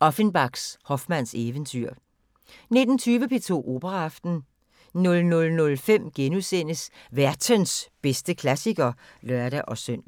Offenbachs Hoffmanns eventyr 19:20: P2 Operaaften 00:05: Værtens bedste klassiker *(lør-søn)